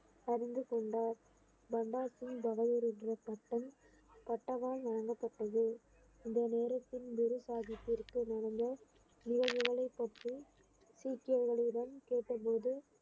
அறிந்து கொண்டார் சிங் பட்டம் பட்டவாள் வழங்கப்பட்டது இந்த நேரத்தில் குரு சாஹிப்பிற்கு நடந்த நிகழ்வுகளை பற்றி சீக்கியர்களிடம் கேட்டபோது